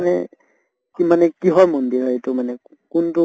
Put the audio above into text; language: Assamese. মানে কি মানে কিহৰ মন্দিৰ হয় এইটো মানে? কোনটো